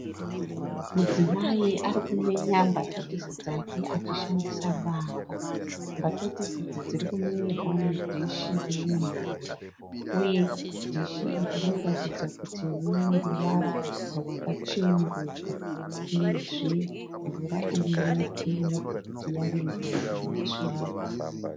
Mudzimai arikumenya mbatatisi dzake achishandisa banga. Mbatatisi idzi dzirikumenyerwa mudishi rine mvura uye dishi iri rinoratidza kuti rineruvara rwakacheneruka, Uye zve mvura irimo inoratidza kuti yave mvura inesvina.